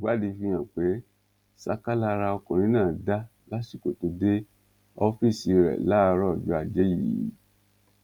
ìwádìí fi hàn pé ṣáká lara ọkùnrin náà dá lásìkò tó dé ọfíìsì rẹ láàárọ ọjọ ajé yìí